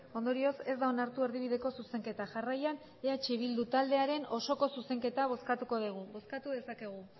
ondorioz ez da onartu erdibideko zuzenketa jarraian eh bildu taldearen osoko zuzenketa bozkatuko dugu bozkatu dezakegu